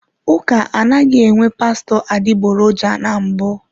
Ụka anaghị enwe pastọ adịgboroja na mbụ.